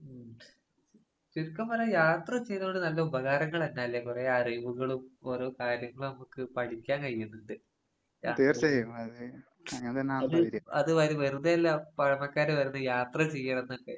ഉം. ചുരുക്കം പറയാണെങ്കി യാത്ര ചെയ്തോണ്ട് നല്ല ഉപകാരങ്ങളന്നല്ലേ കൊറേ അറിവുകളും ഓരോ കാര്യങ്ങളമ്മക്ക് പഠിക്കാൻ കഴിഞ്ഞിട്ടിണ്ട്. അത് അതുവത് വെറുതെയല്ല പഴമക്കാര് പറയുന്നേ യാത്ര ചെയ്യണന്നൊക്കെ.